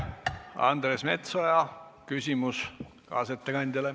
Andres Metsoja küsimus kaasettekandjale.